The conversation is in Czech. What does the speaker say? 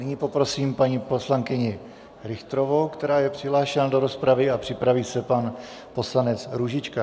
Nyní poprosím paní poslankyni Richterovou, která je přihlášená do rozpravy, a připraví se pan poslanec Růžička.